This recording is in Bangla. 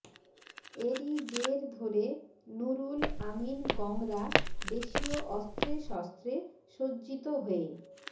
এরই জের ধরে নুরুল আমীন গংরা দেশীয় অস্ত্রে শস্ত্রে সজ্জিত হয়ে